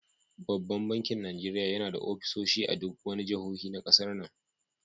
Banban bakin Najeriya yana da offisoshi a duk jahohin ƙasar nan.